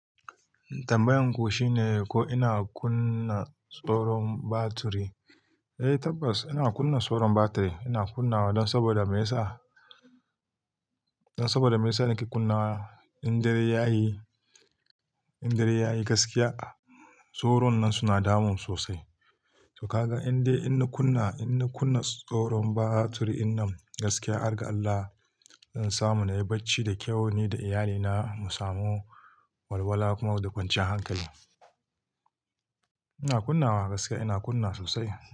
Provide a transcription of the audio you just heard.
Tambayan ku shine ko ina kunna tsaron batiri? Eh tabbas ina kunna tsoron batiri. Ina kunnawa don saboda me yasa, don saboda me yasa nake kunnawa in dare yayi, in dare yayi gaskiya tsoron nan suna damun sosai. To kaga indai ina kunna, ina kunna tsoron batiri in nan gaskiya, hargar Allah, don samun yayi bacci da kyau ni da iyalina mu samu walwala kuma da kwanciyar hankali. Ina kunnawa gaskiya ina kunna sosai.